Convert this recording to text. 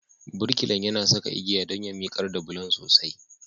Birkilan yana saka igiya don ya miƙar da bulon sosai.